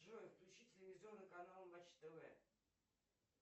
джой включи телевизионный канал матч тв